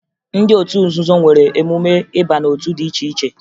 Ndị otu nzuzo nwere emume ịba n'otu dị iche iche